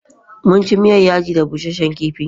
Munci miyar Yaji da Busashen kifi.